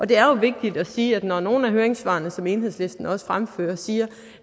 det er vigtigt at sige at når nogle af høringssvarene som enhedslisten også fremfører siger